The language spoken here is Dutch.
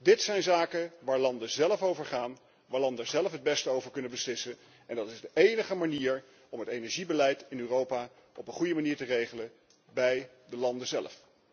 Dit zijn zaken waar landen zelf over gaan, waar landen zelf het beste over kunnen beslissen en dat is de enige manier om het energiebeleid in Europa op een goede manier te regelen, bij de landen zelf.